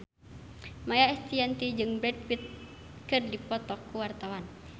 Maia Estianty jeung Brad Pitt keur dipoto ku wartawan